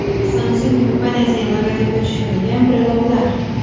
Samsung kompaniyasining logotipi tushirilgan breloklar.